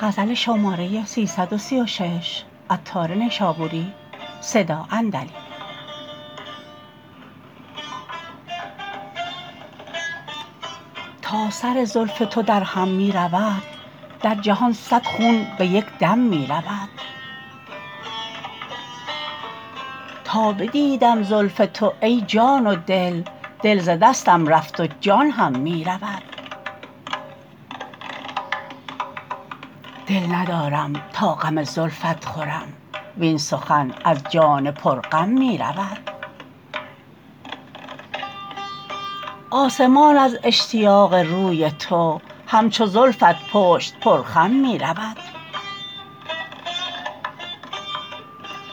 تا سر زلف تو درهم می رود در جهان صد خون به یک دم می رود تا بدیدم زلف تو ای جان و دل دل ز دستم رفت و جان هم می رود دل ندارم تا غم زلفت خورم وین سخن از جان پر غم می رود آسمان از اشتیاق روی تو همچو زلفت پشت پر خم می رود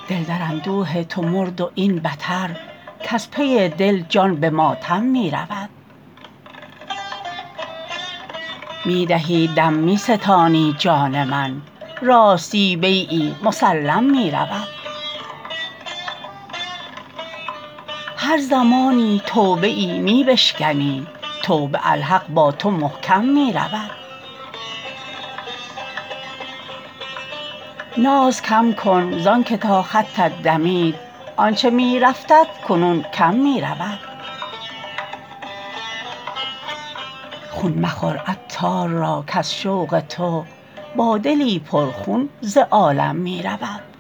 دل در اندوه تو مرد و این بتر کز پی دل جان به ماتم می رود می دهی دم می ستانی جان من راستی بیعی مسلم می رود هر زمانی توبه ای می بشکنی توبه الحق با تو محکم می رود ناز کم کن زانکه تا خطت دمید آنچه می رفتت کنون کم می رود خون مخور عطار را کز شوق تو با دلی پر خون ز عالم می رود